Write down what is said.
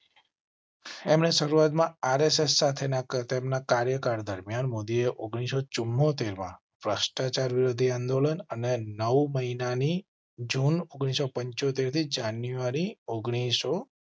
એમ ને શરૂઆત માં આરએસએસ સાથે તેમના કાર્યકાળ દરમિયાન મોદીએ ઓગણીસો ચુંમોતેરમાં ભ્રષ્ટાચાર વિરોધી આંદોલન અને નવ મહિના ની જૂન ઓગણીસો પંચોતેર થી જાન્યુઆરી ઓગણીસો.